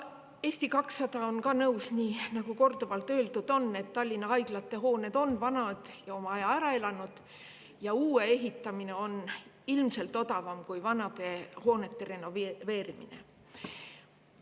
Eesti 200 on nõus, nii nagu korduvalt öeldud on, et Tallinna haiglate hooned on vanad, oma aja ära elanud ja uue ehitamine on ilmselt odavam kui vanade hoonete renoveerimine.